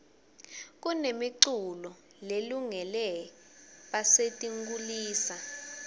kunemi culo lelungele basetinkhulisa